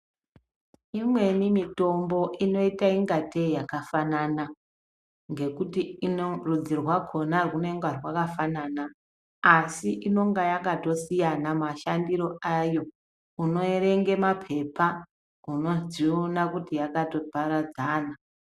Imweni mitombo inoita ingatei yakafanana ngekuti inorudzi rwakhona rwunonga rwakafana asi inonga yakasiyana mashandiro ayo unoerenga mapepa unodziona kuti yakatoparadzana.